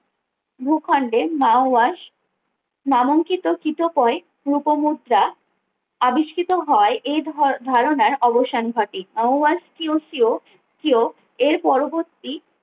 ভূখণ্ডে মাও ওয়াশ নামাঙ্কিত কিতকোয়ে রূপ মুদ্রা আবিষ্কৃত হয় এই ধর ধারণার অবসান ঘটে মাও ওয়াশ কিউ সিউ কেউ এর পরবর্তী